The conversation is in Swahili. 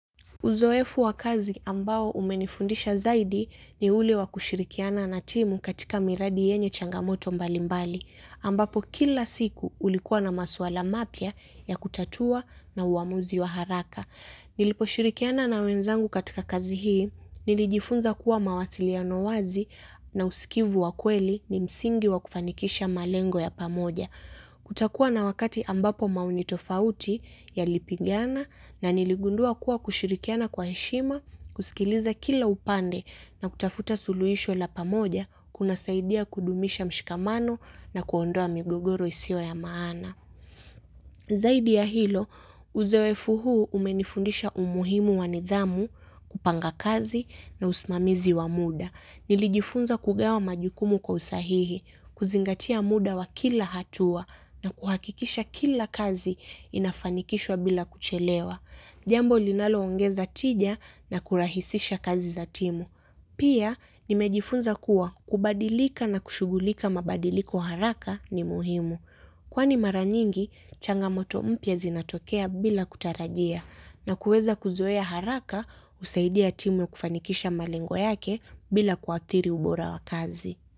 Uzoefu wa kazi ambao umenifundisha zaidi ni uli wa kushirikiana na timu katika miradi yenye changamoto mbalimbali. Ambapo kila siku ulikuwa na masuala mapia ya kutatua na uamuzi wa haraka. Nilipo shirikiana na wenzangu katika kazi hii, nilijifunza kuwa mawasiliano wazi na usikivu wa kweli ni msingi wa kufanikisha malengo ya pamoja. Kutakuwa na wakati ambapo maonitofauti ya lipigana na niligundua kuwa kushirikiana kwa heshima, kusikiliza kila upande na kutafuta suluhisho la pamoja kuna saidia kudumisha mshikamano na kuondoa migogoro isio ya maana. Zaidi ya hilo, uzoefu huu umenifundisha umuhimu wanidhamu, kupanga kazi na usmamizi wa muda. Nilijifunza kugewa majukumu kwa usahihi, kuzingatia muda wa kila hatua na kuhakikisha kila kazi inafanikishwa bila kuchelewa. Jambo linaloongeza tija na kurahisisha kazi za timu. Pia, nimejifunza kuwa kubadilika na kushugulika mabadiliko haraka ni muhimu. Kwani maranyingi, changamoto mpya zinatokea bila kutarajia na kuweza kuzoea haraka usaidia timu kufanikisha malengo yake bila kuathiri ubora wa kazi.